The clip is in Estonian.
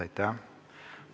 Aitäh!